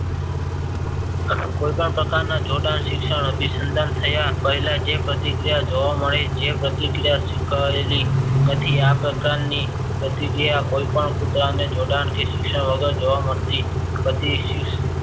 કોઈ પણ પ્રકારના જોડાણ શિક્ષણ અભિસંદન થયા પહેલા જે પ્રતિક્રિયા જોવા મળે જે પ્રતિક્રિયા સીખવાયેલી કાઠી આ પ્રકારની પ્રતિક્રિયા કોઈ પણ કૂતરાને જોડાણ કે શિક્ષણ વગર જોવા મળતી ગટીસીસ